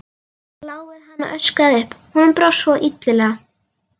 Lá við að hann öskraði upp, honum brá svo illilega.